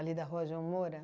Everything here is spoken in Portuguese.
da rua João Moura?